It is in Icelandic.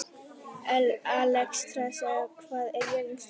Alexstrasa, hvað er jörðin stór?